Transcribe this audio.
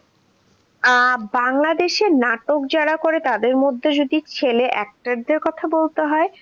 আহ বাংলাদেশে নাটক যারা করে তাদের মধ্যে যদি ছেলে actors দের কথা বলতে হয়.